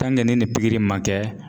ni nin pikiri ma kɛ